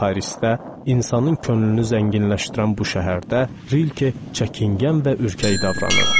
Parisdə, insanın könlünü zənginləşdirən bu şəhərdə, Rilke çəkingən və ürkək davranırdı.